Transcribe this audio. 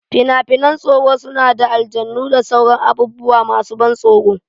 Fina-finan tsoro suna da aljanu da sauran abubuwa masu ban tsoro.